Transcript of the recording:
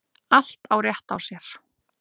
Allt á rétt á sér.